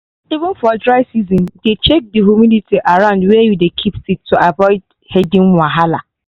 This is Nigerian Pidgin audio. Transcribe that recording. even for dry season dey check the humidity around where you keep seed to avoid hidden wahala.